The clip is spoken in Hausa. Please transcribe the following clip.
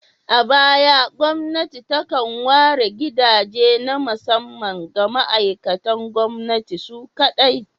A baya, gwamnati takan ware gidaje na musamman ga ma'aikatan gwamnati su kaɗai.